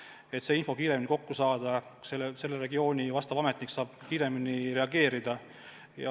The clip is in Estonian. Nii saab info kiiremini kokku, konkreetse regiooni ametnik saab kohe reageerida.